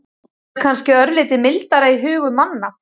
Það er kannski örlítið mildara í hugum manna.